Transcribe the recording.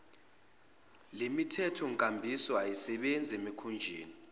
lemithethonkambiso ayisebenzi emikhunjini